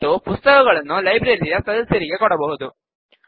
ಮತ್ತು ಪುಸ್ತಕಗಳನ್ನು ಲೈಬ್ರರಿಯ ಸದಸ್ಯರಿಗೆ ಕೊಡಬಹುದು